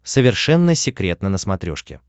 совершенно секретно на смотрешке